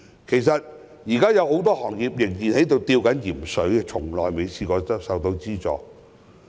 其實，現在還有很多行業仍在"吊鹽水"，卻從未獲得資助。